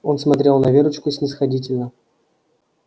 он смотрел на верочку снисходительно